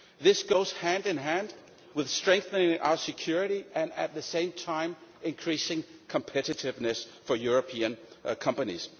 This goes hand in hand with strengthening our security and at the same time increasing competitiveness for European companies.